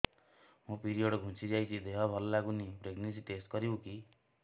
ମୋ ପିରିଅଡ଼ ଘୁଞ୍ଚି ଯାଇଛି ଦେହ ଭଲ ଲାଗୁନି ପ୍ରେଗ୍ନନ୍ସି ଟେଷ୍ଟ କରିବୁ କି